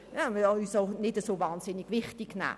Wir sollten uns nicht so unglaublich wichtig nehmen.